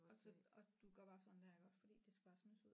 Og så og du gør bare sådan der iggå fordi det skal bare smides ud